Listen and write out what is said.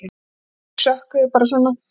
Sikksökkuðu bara svona.